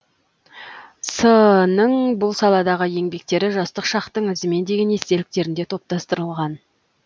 с нің бұл саладағы еңбектері жастық шақтың ізімен деген естеліктерінде топтастырылған